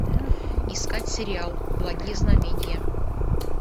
искать сериал благие знамения